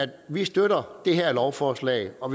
vi støtter det her lovforslag og